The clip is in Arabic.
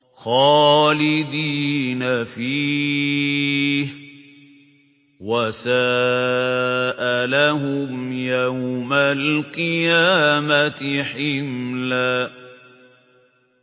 خَالِدِينَ فِيهِ ۖ وَسَاءَ لَهُمْ يَوْمَ الْقِيَامَةِ حِمْلًا